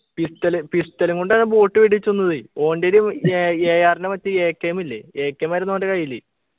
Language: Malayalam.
pistol pistol ഉം കൊണ്ടാ boat വെടിവച്ചു കൊന്നതേ ഓൻറ്റെയില് aAR ൻ്റെ മറ്റേ AKM ഇല്ലേ AKM ആയിരുന്നു ഓൻ്റെ കയ്യില്